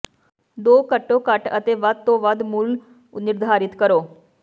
ਦੋ ਘੱਟੋ ਘੱਟ ਅਤੇ ਵੱਧ ਤੋਂ ਵੱਧ ਮੁੱਲ ਨਿਰਧਾਰਿਤ ਕਰੋ